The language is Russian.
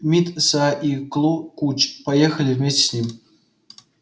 мит са и клу куч поехали вместе с ним